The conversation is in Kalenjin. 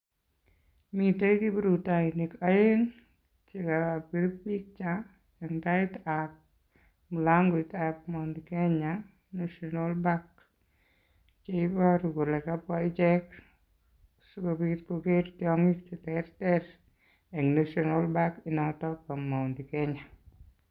Miten kiprutoinik oeng' chekobir picha en taitab mulangoitab Mt Kenya national park. Cheiboru kole kabwa ichek sikobit koker tiongik cheterter en national park noton bo Mt Kenya.